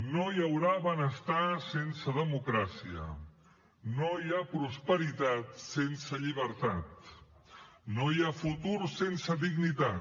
no hi haurà benestar sense democràcia no hi ha prosperitat sense llibertat no hi ha futur sense dignitat